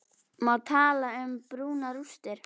Má tala um brunarústir?